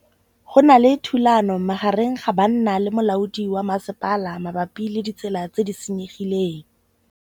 Go na le thulanô magareng ga banna le molaodi wa masepala mabapi le ditsela tse di senyegileng.